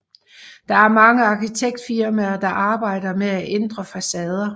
Der er mange arkitektfirmaer der arbejder med at ændre facader